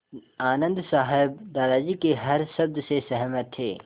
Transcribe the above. आनन्द साहब दादाजी के हर शब्द से सहमत थे